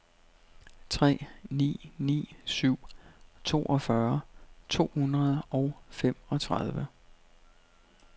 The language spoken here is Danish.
tre ni ni syv toogfyrre to hundrede og femogtredive